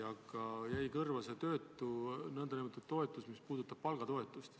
Aga mulle jäi kõrva see meede, mis puudutab palgatoetust.